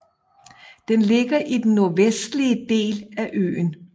Den ligger i den nordvestlige del af øen